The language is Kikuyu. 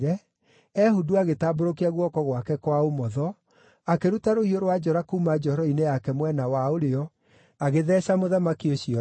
Ehudu agĩtambũrũkia guoko gwake kwa ũmotho, akĩruta rũhiũ rwa njora kuuma njohero-inĩ yake mwena wa ũrĩo, agĩtheeca mũthamaki ũcio nda.